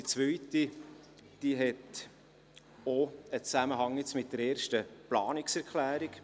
Die zweite Bemerkung hat auch einen Zusammenhang mit der ersten Planungserklärung.